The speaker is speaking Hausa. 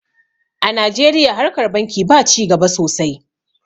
a najeriya harkar banki ba ci gaba sosai